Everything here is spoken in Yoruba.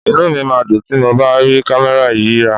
Inú mi máa dùn tí mo bá rí kámẹ́rà yìí rà.